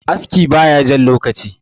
aski ba ya Jan lokaci